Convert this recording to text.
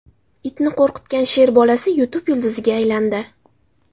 Itni qo‘rqitgan sher bolasi YouTube yulduziga aylandi .